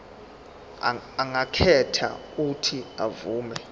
angakhetha uuthi avume